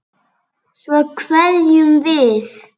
Svo kveðjum við.